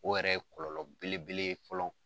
O yɛrɛ ye kɔlɔlɔ belebele ye fɔlɔ.